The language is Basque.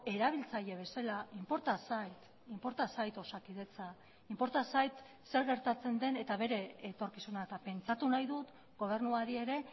erabiltzaile bezala inporta zait osakidetza inporta zait zer gertatzen den eta bere etorkizuna eta pentsatu nahi dut gobernuari ere